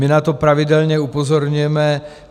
My na to pravidelně upozorňujeme.